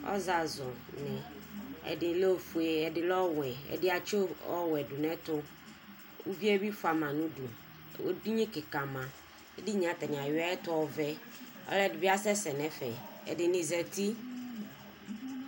Ɔzazʋni, ɛdi lɛ ofue, ɛdi lɛ ɔwɛ, ɛdi atsi of ɔwɛ dʋ n'ɛtʋ, uvie bi fia ma n'udu, edini kika ma Edini yɛ atani ayui ayɛtʋ ɔvɛ, ɔlɔdi bi asɛsɛ n'ɛfɛ, ɛdini zati